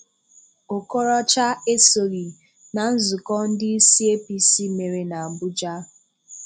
Okorocha esoghị na nzùkọ ndị isi APC mere n’Abuja.